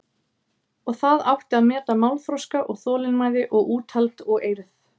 Og það átti að meta málþroska og þolinmæði og úthald og eirð.